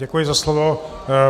Děkuji za slovo.